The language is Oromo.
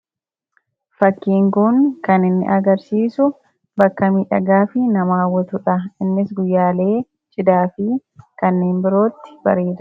fakkiinguun kan inni agarsiisu bakkamii dhagaa fi namaawwatuudha innis guyyaalee chidaa fi kanneen birootti bareera